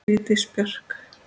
Vigdís Björk.